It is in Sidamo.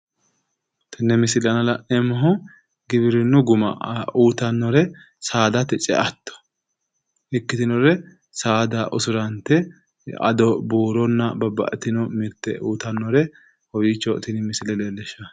Tenne misile aana la'neemmohu giwirinnu guma uyiitannore saadate ce"atto ikkitinore saada usurante ado buuronna babbaxxitino mirte uyiitannore kowiicho tini misile leellishshanno